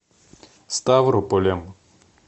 ставрополем